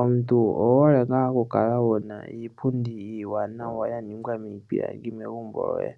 Omuntu owuhole nga okukala wuna iipundi iwanawa yaningwa mipilangi megumbo lyoye,